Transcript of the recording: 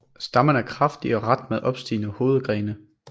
Stammen er kraftig og ret med opstigende hovedgrene